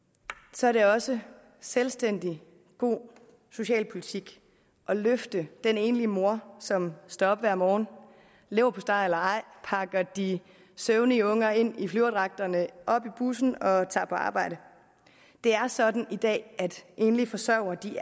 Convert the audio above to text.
så er det også selvstændig god socialpolitik at løfte den enlige mor som står op hver morgen leverpostej eller ej pakker de søvnige unger ind i flyverdragterne op i bussen og tager på arbejde det er sådan i dag at enlige forsørgere